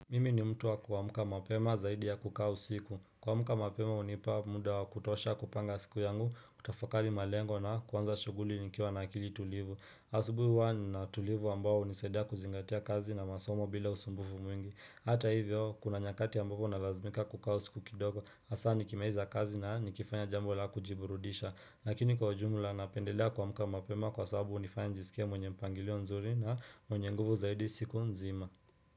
Mimi ni mtu wa kuamka mapema zaidi ya kukaa usiku kuamka mapema hunipa muda wa kutosha kupanga siku yangu kutafakali malengo na kuanza shughuli nikiwa na akili tulivu asubuhi huwa nina utulivu ambao hunisaidia kuzingatia kazi na masomo bila usumbufu mwingi Hata hivyo kuna nyakati ambapo nalazimika kukaa usiku kidogo hasa nikimaliza kazi na nikifanya jambo la kujiburudisha Lakini kwa jumla napendelea kuamka mapema kwa sababu hunifanya nijisikie mwenye mpangilio nzuri na mwenye nguvu zaidi siku nzima.